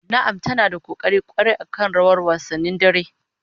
Na'am ta na da kokari kwarai akan rawar wasannin dare